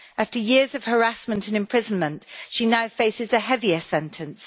After years of harassment and imprisonment, she now faces a heavier sentence.